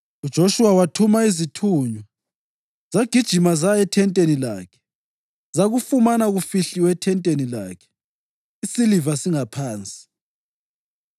UJoshuwa wathuma izithunywa, zagijima zaya ethenteni lakhe, zakufumana kufihlilwe ethenteni lakhe, isiliva singaphansi.